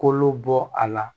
Kolo bɔ a la